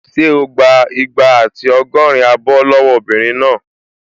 Ṣé o gbà igba àti ọgọ́rin abọ́ lọ́wọ́ obìnrin náà?